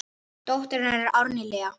Dóttir hennar er Árný Lea.